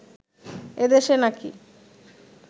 এদেশে নাকি